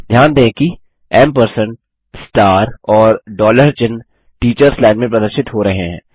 ध्यान दें कि एएमपी और चिह्न टीचर्स लाइन में प्रदर्शित हो रहे हैं